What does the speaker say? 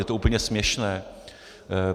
Je to úplně směšné.